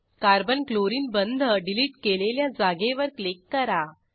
carbon chlorine बंध delete केलेल्या जागेवर क्लिक करा